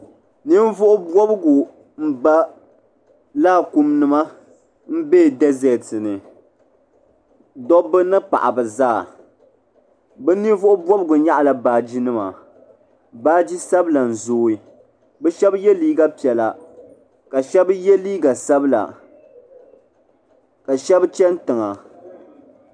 Ninvuɣu bobgu m ba laakum nima m be deseti ni dobba ni paɣaba zaa bɛ ninvuɣu bobgu nyaɣ'la baagi nima baagi sabla n zooi bɛ shɛba ye liiga piɛla ka shɛba ye liiga sabla ka shɛba chɛni tiŋa.